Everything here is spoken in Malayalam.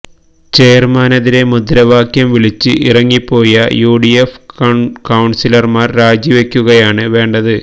ചെയര്മാനെതിരെ മുദ്രാവാക്യം വിളിച്ച് ഇറങ്ങിപ്പോയ യു ഡി എഫ് കൌണ്സിലര്മാര് രാജിവെക്കുകയാണ് വേണ്ടത്